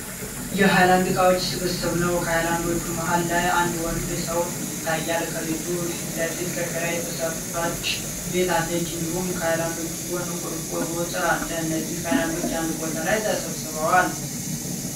የሀይላንድ እቃዎች ስብስብ ነው። ከሀይላንዶቹ መሀል ላይ አንድ ወንድ ሰው ይታያል። ከልጁ ፊት ለፊት ከሸራ የተሰራች ቤት አለች። እንዲሁም ከሀይላንዶቹ ጎን የቆርቆሮ እጥር አለ። እነዚህ ሀይላንዱች አንድ ቦታ ላይ ተሰብስበዋል።